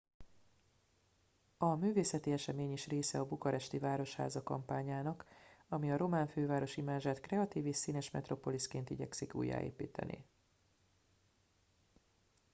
a művészeti esemény is része a bukaresti városháza kampányának ami a román főváros imázsát kreatív és színes metropoliszként igyekszik újjáépíteni